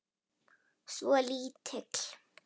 Svo lítill.